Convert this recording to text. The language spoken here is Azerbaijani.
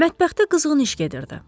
Mətbəxdə qızğın iş gedirdi.